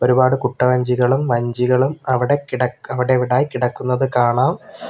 ഒരുപാട് കുട്ടവഞ്ചികളും വഞ്ചികളും അവിടെ കിട അവിടിവിടായി കിടക്കുന്നത് കാണാം.